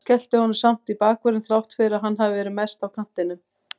Skellti honum samt í bakvörðinn þrátt fyrir að hann hafi verið mest á kantinum.